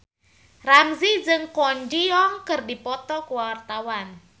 Ramzy jeung Kwon Ji Yong keur dipoto ku wartawan